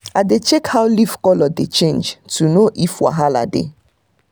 i dey check how leaf colour dey change to know if wahala dey.